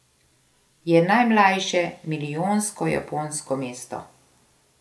Je najmlajše milijonsko japonsko mesto.